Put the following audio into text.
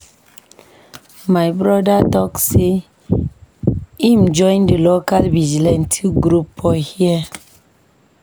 My broda tok sey im join di local vigilantee group for here.